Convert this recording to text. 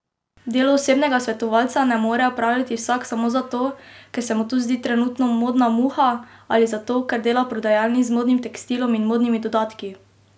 Delo osebnega svetovalca ne more opravljati vsak samo zato, ker se mu to zdi trenutno modna muha, ali zato, ker dela v prodajalni z modnim tekstilom in modnimi dodatki!